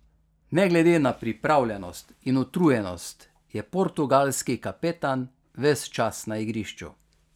Ne glede na pripravljenost in utrujenost je portugalski kapetan ves čas na igrišču.